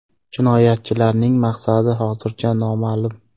Jinoyatchilarning maqsadi hozircha noma’lum.